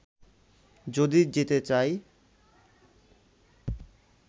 যদি যেতে চাই